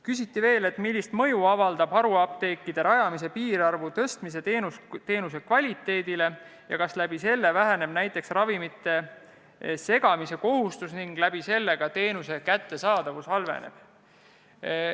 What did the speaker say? Küsiti veel, millist mõju avaldab haruapteekide rajamise piirarvu suurendamine teenuse kvaliteedile ning kas selle tagajärjel mõnes apteegis näiteks kaob ravimite valmistamise kohustus ja teenuse kättesaadavus halveneb.